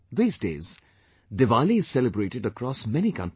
These days Diwali is celebrated across many countries